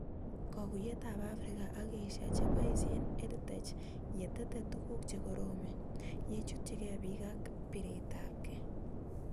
Kakuyet ab Afrika ak Asia chepoishe EdTech ye tete tuguk che koromen, ye chutchikei pik ak piret ab kei